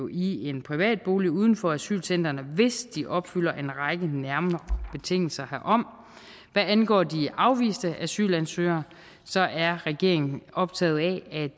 i en privat bolig uden for asylcentrene hvis de opfylder en række nærmere betingelser herfor hvad angår de afviste asylansøgere er regeringen optaget af